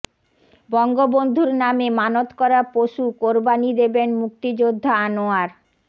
বঙ্গবন্ধুর নামে মানত করা পশু কোরবানি দেবেন মুক্তিযোদ্ধা আনোয়ার